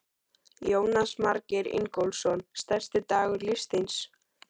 Jónas Margeir Ingólfsson: Stærsti dagur lífs þíns?